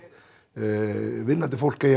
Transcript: fólk eigi